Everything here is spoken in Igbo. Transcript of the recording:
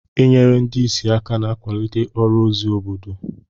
Inyere ndị ìsì aka na-akwalite ọrụ ozi obodo.